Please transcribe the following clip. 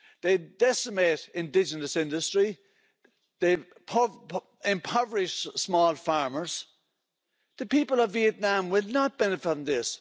They decimate indigenous industry, they impoverish small farmers. The people of Vietnam will not benefit from this.